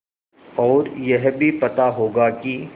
और यह भी पता होगा कि